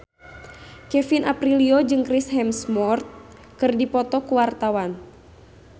Kevin Aprilio jeung Chris Hemsworth keur dipoto ku wartawan